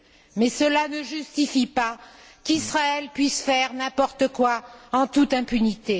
mais cela ne justifie pas qu'Israël puisse faire n'importe quoi, en toute impunité.